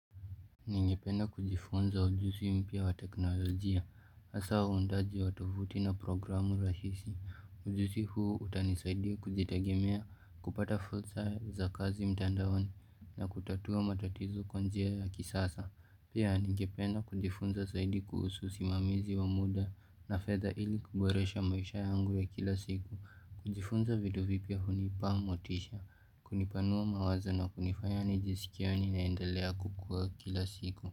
Ningependa kujifunza ujuzi mpya wa teknolojia, hasa huundaji wa tovuti na programu rahisi. Ujuzi huu utanisaidia kujitegemia kupata fursa za kazi mtandaoni na kutatua matatizo kwa njia ya kisasa. Pia ningependa kujifunza zaidi kuhusu simamizi wa muda na fedha ili kuboresha maisha yangu ya kila siku. Kujifunza video vipya hunipea motisha, kunipanua mawazo na kunifanya nijisikie yaninaendelea kukua kila siku.